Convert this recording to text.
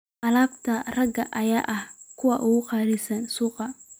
Alaabta raagaya ayaa ah kuwa ugu qaalisan suuqa.